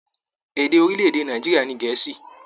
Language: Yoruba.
Èdè orilẹ-èdè Nàìjíríà ní Gèẹ́sì.